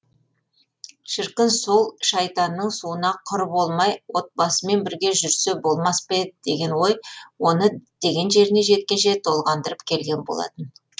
шіркін сол шайтанның суына құр болмай отбасымен бірге жүрсе болмас па еді деген ой оны діттеген жеріне жеткенше толғандырып келген болатын